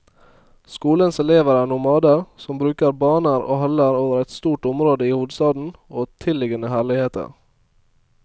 Skolens elever er nomader, som bruker baner og haller over et stort område i hovedstaden og tilliggende herligheter.